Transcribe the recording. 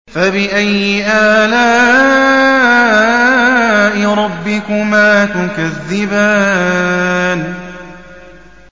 فَبِأَيِّ آلَاءِ رَبِّكُمَا تُكَذِّبَانِ